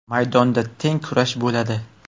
Maydonda teng kurash bo‘ladi.